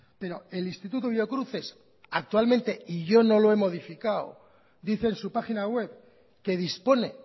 pero el instituto biocruces actualmente y yo no lo he modificado dice en su página web que dispone